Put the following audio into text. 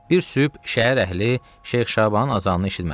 Bir sübh şəhər əhli Şeyx Şabanın azanını eşitmədi.